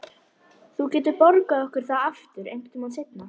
Þú getur borgað okkur það aftur einhvern tíma seinna.